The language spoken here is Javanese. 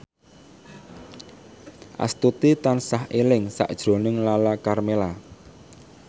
Astuti tansah eling sakjroning Lala Karmela